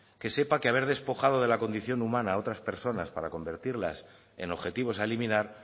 que sepa que haber despojado de la condición humana otras personas para convertirlas en objetivos a eliminar